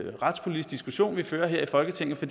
retspolitisk diskussion vi fører her i folketinget for